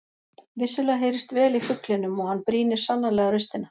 Vissulega heyrist vel í fuglinum og hann brýnir sannarlega raustina.